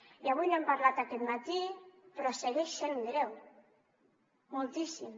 i avui n’hem parlat aquest matí però segueix sent greu moltíssim